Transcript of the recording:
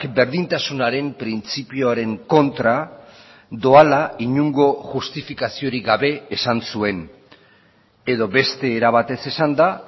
berdintasunaren printzipioaren kontra doala inongo justifikaziorik gabe esan zuen edo beste era batez esanda